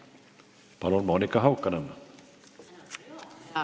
Palun, Monika Haukanõmm!